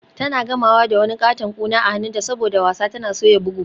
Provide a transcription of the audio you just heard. Tana gamawa da wani katon kuna a hannunta saboda wasa tana soya bugu.